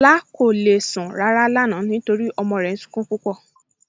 Lọla kò le sun ràrà lánà nítorí ọmọ rè ń súnkún púpọ.